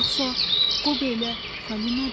Yoxsa Qobo ilə Falinadı?